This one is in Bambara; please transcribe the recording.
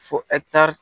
Fo